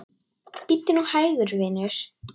Bíddu nú hægur, vinur.